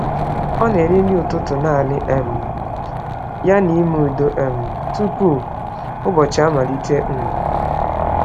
Ọ na-eri nri ụtụtụ naanị um ya n’ime udo um tupu ụbọchị amalite. um